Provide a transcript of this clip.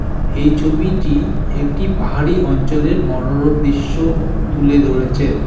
এই ছবিটি একটি পাহাড়ি অঞ্চলের মনোরম দৃশ্য তুলে ধরেছে।